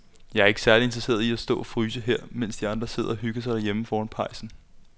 Jeg er ikke særlig interesseret i at stå og fryse her, mens de andre sidder og hygger sig derhjemme foran pejsen.